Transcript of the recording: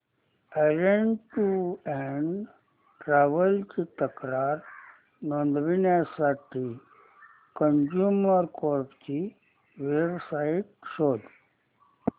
orange Tours and Travels ची तक्रार नोंदवण्यासाठी कंझ्युमर कोर्ट ची वेब साइट शोध